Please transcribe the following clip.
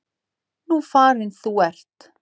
Nú farin þú ert.